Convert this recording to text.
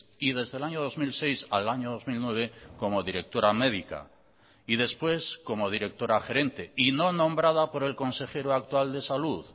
y desde el año dos mil seis al año dos mil nueve como directora médica y después como directora gerente y no nombrada por el consejero actual de salud